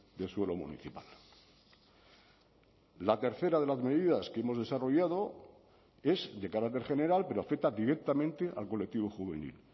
de suelo municipal la tercera de las medidas que hemos desarrollado es de carácter general pero afecta directamente al colectivo juvenil